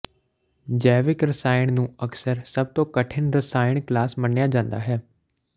ਜੈਵਿਕ ਰਸਾਇਣ ਨੂੰ ਅਕਸਰ ਸਭ ਤੋਂ ਕਠਿਨ ਰਸਾਇਣ ਕਲਾਸ ਮੰਨਿਆ ਜਾਂਦਾ ਹੈ